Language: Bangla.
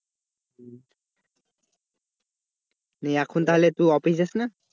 নিয়ে এখন তুই office যাস না?